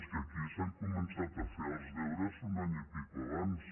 és que aquí s’han començat a fer els deures un any i escaig abans